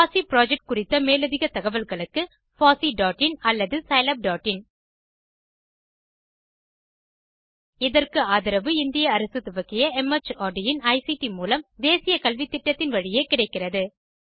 பாசி புரொஜெக்ட் குறித்த மேலதிக தகவல்களுக்கு httpfosseein அல்லது httpscilabin இதற்கு ஆதரவு இந்திய அரசு துவக்கிய மார்ட் இன் ஐசிடி மூலம் தேசிய கல்வித்திட்டத்தின் வழியே கிடைக்கிறது